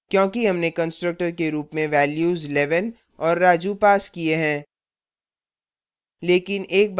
क्योंकि हमने constructor के रुप में values 11 और raju passed किए हैं